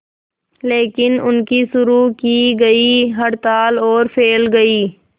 लेकिन उनकी शुरू की गई हड़ताल और फैल गई